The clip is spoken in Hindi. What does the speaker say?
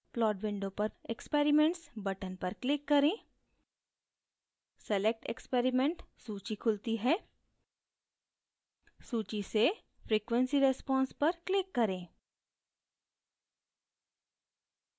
plot window पर experiments button पर click करें select experiment सूची खुलती है सूची से frequency response पर click करें